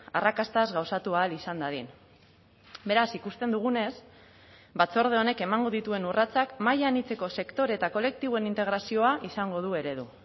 arrakastaz gauzatu ahal izan dadin beraz ikusten dugunez batzorde honek emango dituen urratsak maila anitzeko sektore eta kolektiboen integrazioa izango du eredu